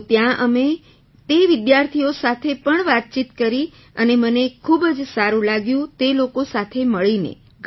તો ત્યાં અમે તે વિદ્યાર્થીઓ સાથે પણ વાતચીત કરી અને મને ખૂબ જ સારું લાગ્યું તે લોકો સાથે મળીને